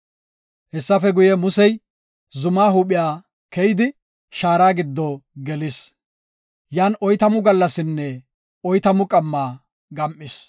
Hessafe guye, Musey zumaa huuphiya keyidi shaara giddo gelis; yan oytamu gallasinne oytamu qamma gam7is.